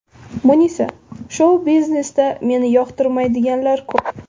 Munisa :– Shou-biznesda meni yoqtirmaydiganlar ko‘p.